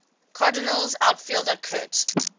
cardinals outfielder curt